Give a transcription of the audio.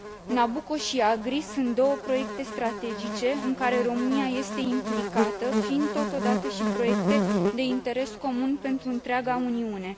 Nabucco și AGRI sunt două proiecte strategice în care România este implicată, fiind, totodată, și proiecte de interes comun pentru întreaga Uniune.